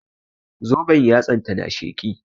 Zoben yatsan ta na sheƙi